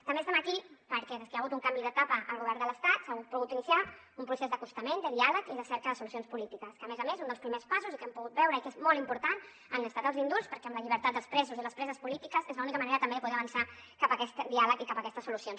també estem aquí perquè des que hi ha hagut un canvi d’etapa al govern de l’estat s’ha pogut iniciar un procés d’acostament de diàleg i de cerca de solucions polítiques que a més a més un dels primers passos i que hem pogut veure i que és molt important han estat els indults perquè amb la llibertat dels presos i les preses polítiques és l’única manera també de poder avançar cap a aquest diàleg i cap a aquestes solucions